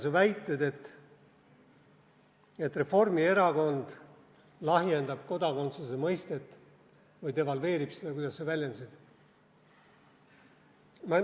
Su väited, et Reformierakond lahjendab kodakondsuse mõistet või devalveerib seda, nagu sa väljendasid.